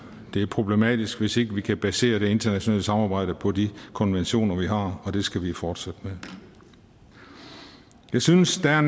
det er problematisk hvis ikke vi kan basere det internationale samarbejde på de konventioner vi har og det skal vi fortsætte med jeg synes der er